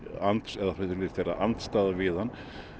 eða vera andstaða við hann